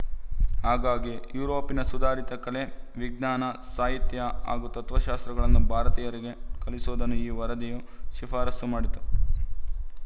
ಹಾಗಾಗಿ ಯುರೋಪಿನ ಸುಧಾರಿತ ಕಲೆ ವಿಜ್ಞಾನ ಸಾಹಿತ್ಯ ಹಾಗೂ ತತ್ವಶಾಸ್ತ್ರಗಳನ್ನು ಭಾರತೀಯರಿಗೆ ಕಲಿಸುವುದನ್ನು ಈ ವರದಿಯೂ ಶಿಫಾರಸ್ಸು ಮಾಡಿತು